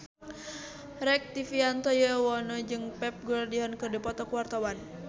Rektivianto Yoewono jeung Pep Guardiola keur dipoto ku wartawan